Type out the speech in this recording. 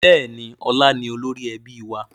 Bẹ́ẹ̀ni, ọlá ni olórí ẹbí wa